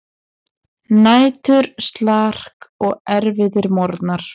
Næturslark og erfiðir morgnar.